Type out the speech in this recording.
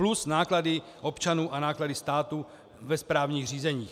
Plus náklady občanů a náklady státu ve správních řízeních.